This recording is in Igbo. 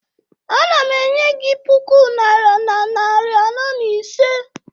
Ana m enye gị puku naira na narị anọ na ise